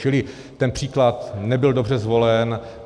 Čili ten příklad nebyl dobře zvolen.